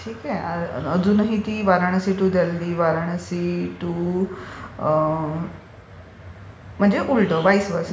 ठीक आहे. अजूनही ती वाराणसी टू दिल्ली, वाराणसी टू... म्हणजे उलट व्हाईस वर्सा